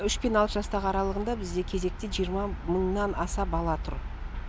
үш пен алты жастағы аралығында бізде кезекте жиырма мыңнан аса бала тұр